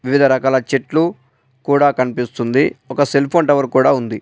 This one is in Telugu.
వివిధ రకాల చెట్లు కూడా కనిపిస్తుంది. ఒక సెల్ఫోన్ టవర్ కూడా ఉంది.